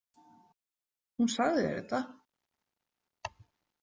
Hún sagði þér þetta?